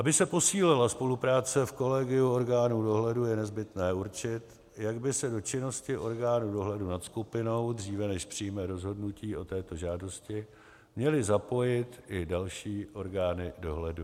Aby se posílila spolupráce v kolegiu orgánů dohledu, je nezbytné určit, jak by se do činnosti orgánu dohledu nad skupinou, dříve než přijme rozhodnutí o této žádosti, měly zapojit i další orgány dohledu.